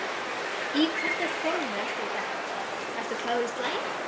Í hvernig formi ertu í dag, ertu klár í slaginn?